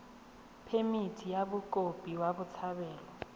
phemithi ya mokopi wa botshabelo